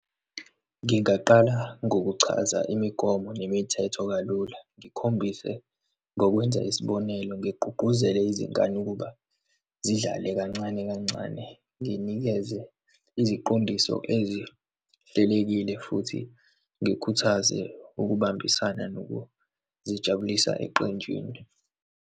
Ngingaqala ngokuchaza imigomo nemithetho kalula, ngikhombise ngokwenza isibonelo, ngigqugquzele izingane ukuba zidlale kancane kancane, nginikeze iziqondiso ezihlelekile, futhi ngikhuthaze ukubambisana nokuzijabulisa eqenjini.